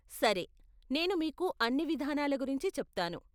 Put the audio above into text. సరే నేను మీకు అన్ని విధానాల గురించి చెప్తాను.